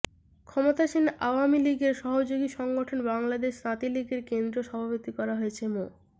ক্ষমতাসীন আওয়ামী লীগের সহযোগী সংগঠন বাংলাদেশ তাঁতী লীগের কেন্দ্রীয় সভাপতি করা হয়েছে মো